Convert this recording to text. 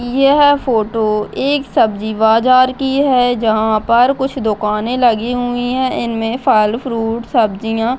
यह फोटो एक सब्जी बाजार की है जहां पर कुछ दुकाने लगी हुई है इनमे फल फ्रूट सब्जियां --